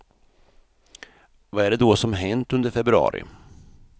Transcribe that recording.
Vad är det då som hänt under februari?